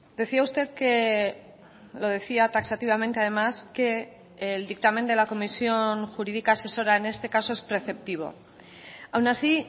decía usted que lo decía taxativamente además que el dictamen de la comisión jurídica asesora en este caso es preceptivo aun así